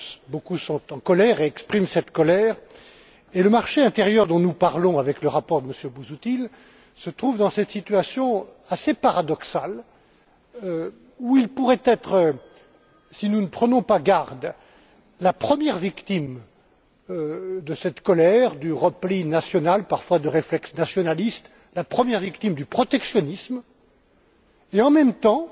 Beaucoup sont en colère et expriment cette colère, et le marché intérieur dont nous parlons avec le rapport de M. Busuttil se trouve dans cette situation assez paradoxale où il pourrait être, si nous ne prenons pas garde, la première victime de cette colère, du repli national, parfois de réflexes nationalistes, la première victime du protectionnisme. En même temps,